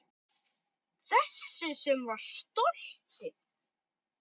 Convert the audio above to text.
Þessi sem var stolið!